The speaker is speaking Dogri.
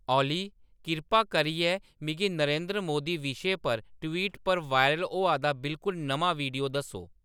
ओली किरपा करियै मिगी नरेंद्र मोदी विशे पर ट्विटर पर वायरल होआ दा बिलकुल नमां वीडियो दस्सो